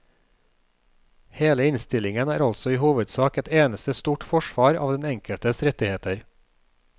Hele innstillingen er altså i all hovedsak et eneste stort forsvar av den enkeltes rettigheter.